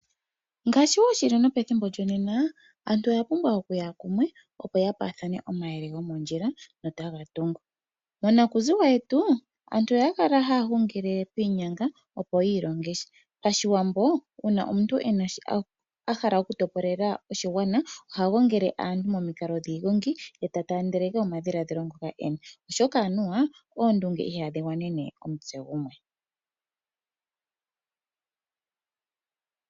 Ngaashi wo shili nopethimbo lyonena, aantu oyapumbwa okuya kumwe opo ya paathane omayele gomondjila notaga tungu. Monakuziwa yetu aantu oyakala haya hungile piinyanga opo yiilongesha. PaShiwambo uuna omuntu ahala okutopolela oshigwana oha gongele aantu momikalo dhiigongi, eta taandeleke omadhiladhilo ngoka ena oshoka anuwa oondunge ihadhi gwanene omutse gumwe.